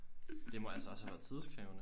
Det må altså også have været tidskrævende